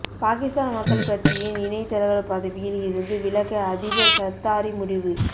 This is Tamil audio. பாகிஸ்தான் மக்கள் கட்சியின் இணை தலைவர் பதவியில் இருந்து விலக அதிபர் சர்தாரி முடிவு